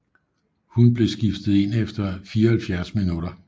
Hun blev skiftet ind efter 74 minutter